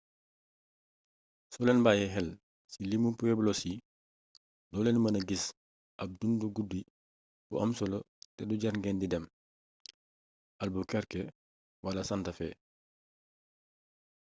soo leen bayyee xel ci limu pueblos yi doo leen mëna gis ab dundu guddi bu am solo te du jàr ngeen di dem albuquerque wala santa fe